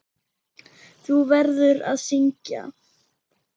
Þú verður að syngja.